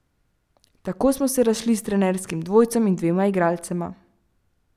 Tako smo se razšli s trenerskim dvojcem in dvema igralcema.